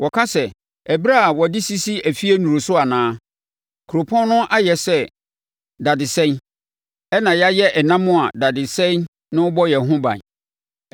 Wɔka sɛ, ‘Ɛberɛ a wɔde sisi afie nnuru so anaa? Kuropɔn no ayɛ sɛ dadesɛn, ɛnna yɛayɛ ɛnam a dadesɛn no bɔ yɛn ho ban.’